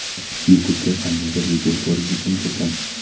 YouTube ga qandaydir video ko‘rish uchun kirdim.